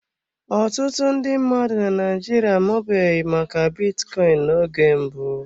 Ọtụtụ ndị mmadụ na Naịjirịa amabughị maka bitcoin n'oge mbụ.